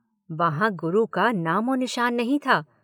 वहां गुरु का नामोनिशान नहीं था।